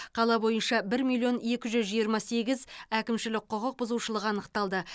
қала бойынша бір миллион екі жүз жиырма сегіз әкімшілік құқық бұзушылық анықталды